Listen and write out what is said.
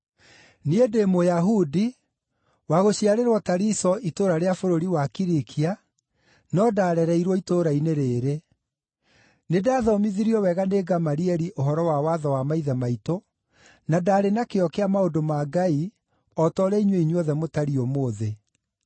“Niĩ ndĩ Mũyahudi, wa gũciarĩrwo Tariso itũũra rĩa bũrũri wa Kilikia, no ndaarereirwo itũũra-inĩ rĩĩrĩ. Nĩndathomithirio wega nĩ Gamalieli ũhoro wa watho wa maithe maitũ, na ndaarĩ na kĩyo kĩa maũndũ ma Ngai o ta ũrĩa inyuĩ inyuothe mũtariĩ ũmũthĩ.